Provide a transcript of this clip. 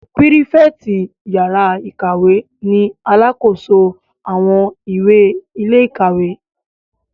Pírífẹ̀tì yàrá-ìkàwé ni alàkóso àwọn ìwé ilé-ìwé